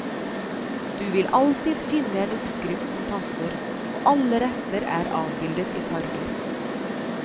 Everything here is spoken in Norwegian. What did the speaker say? Du vil alltid finne en oppskrift som passer, og alle retter er avbildet i farger.